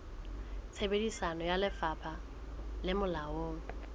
tsebiso ya lefapha le molaong